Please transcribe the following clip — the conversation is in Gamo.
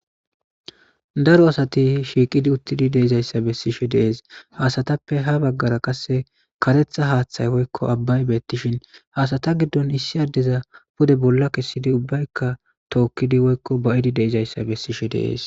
daro asati shiiqidi uttidi deizayssa bessishe deees haasatappe ha baggara qasse karetha haaththay woykko abbay beettishin haasata giddon issi addeza bode bolla kessidi ubbaykka tookkidi woykko ba7idi deizayssa bessishe dees